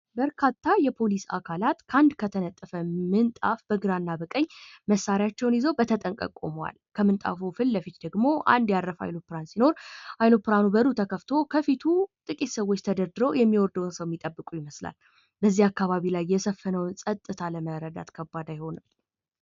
በርካታ የፖሊስ አካላት ከአንድ ከተነጠፈ ምንጣፍ በግራ እና በቀኝ መሳሪያቸውን ይዘው በተጠንቀቅ ቁመዋል ከምንጣፉ ፊት ለፊት ደግሞ አንድ የአረፈ አውሮፕላን ሲኖር የአውሮፕላኑ በሩ ተከፍቶ ከፊቱ ጥቂት ሰዎች ተደርድረው የሚወርደውን ሰው እየጠበቁ ይመስላል ። በዚህ አካባቢ ላይ የሰፈነውን ፀጥታ ለመረዳት ከባድ አይሆንም ።